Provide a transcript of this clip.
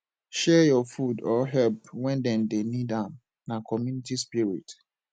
share your food or help when dem dey need am na community spirit